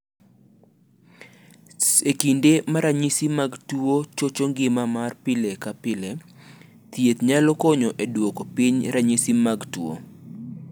"E kinde ma ranyisi mag tuo chocho ngima mar pile ka pile, thieth nyalo konyo e duoko piny ranyisi mag tuo."